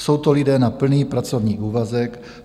Jsou to lidé na plný pracovní úvazek?